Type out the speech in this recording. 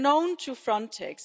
They are known to Frontex.